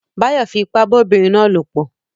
Báyọ̀ fi ipá bá obìnrin náà lòpọ̀